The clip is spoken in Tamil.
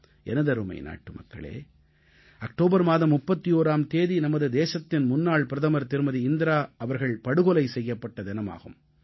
எனதருமை நாட்டுமக்களே அக்டோபர் மாதம் 31ஆம் தேதி நமது தேசத்தின் முன்னாள் பிரதமர் திருமதி இந்திரா அவர்கள் படுகொலை செய்யப்பட்ட தினமாகும்